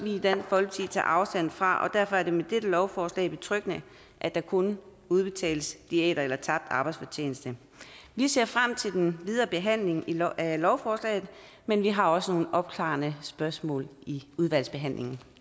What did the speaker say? i dansk folkeparti tager afstand fra og derfor er det med dette lovforslag betryggende at der kun udbetales diæter eller tabt arbejdsfortjeneste vi ser frem til den videre behandling af lovforslaget men vi har også nogle opklarende spørgsmål i udvalgsbehandlingen